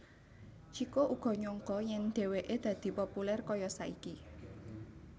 Chiko uga nyangka yèn dhèwèké dadi populèr kaya saiki